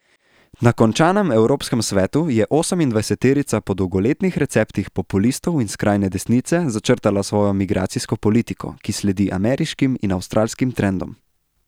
Na končanem evropskem svetu je osemindvajseterica po dolgoletnih receptih populistov in skrajne desnice začrtala svojo migracijsko politiko, ki sledi ameriškim in avstralskim trendom.